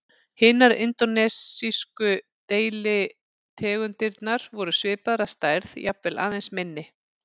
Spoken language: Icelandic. Hinar indónesísku deilitegundirnar voru svipaðar að stærð, jafnvel aðeins minni.